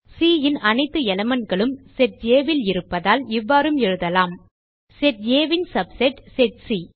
C ன் அனைத்து elementகளும் செட் Aல் இருப்பதால் இவ்வாறும் எழுதலாம் செட் Aன் சப்செட் செட் சி